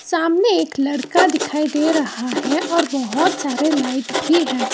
सामने एक लड़का दिखाई दे रहा है और बहोत सारे लाइट भी है।